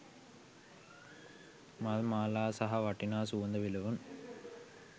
මල් මාලා සහ වටිනා සුවඳ විලවුන්